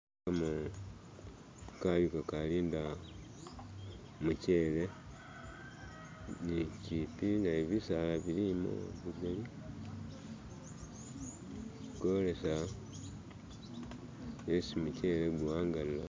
ano kayu kalinda mukyele ni kyipi nayo bisaala bilimo bigali kowolesa esi mukyele kuwangalila